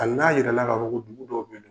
Hali n'a yira ka fɔ ko dugu dɔw bɛ ye.